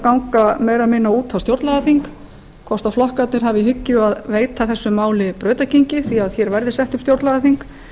ganga meira eða minna út á stjórnlagaþing hvort flokkarnir hafi í hyggju að veita þessu máli brautargengi því að hér verði sett upp stjórnlagaþing